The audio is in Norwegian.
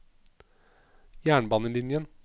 jernbanelinjen